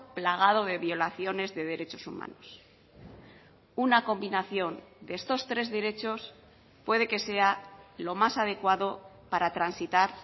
plagado de violaciones de derechos humanos una combinación de estos tres derechos puede que sea lo más adecuado para transitar